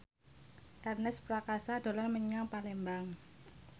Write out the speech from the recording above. Ernest Prakasa dolan menyang Palembang